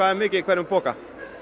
mikið í hvern poka